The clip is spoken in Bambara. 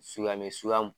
Suya bɛ suga mun